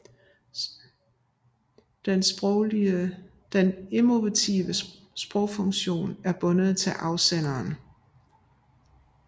Den emotive sprogfunktion er bundet til afsenderen